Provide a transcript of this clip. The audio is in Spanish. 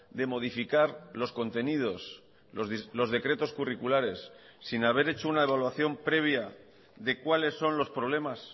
de modificar los contenidos los decretos curriculares sin haber hecho una evaluación previa de cuáles son los problemas